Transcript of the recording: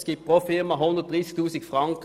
Es ergibt pro Firma 130 000 Franken.